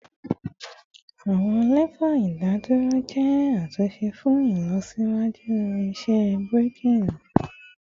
Awọn lefa idaduro jẹ atunṣe fun ilọsiwaju iṣẹ braking